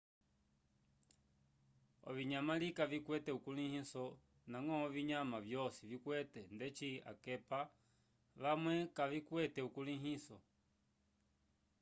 ovinyama lika vikwete ukulĩhiso ndañgo ovinyama vyosi vikwete; ndeci akepa vamwe kavikwete ukulĩhiso